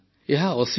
ଏହା ଅସୀମ